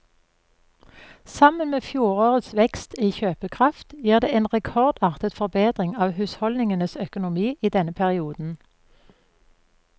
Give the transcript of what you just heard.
Sammen med fjorårets vekst i kjøpekraft gir det en rekordartet forbedring av husholdningenes økonomi i denne perioden.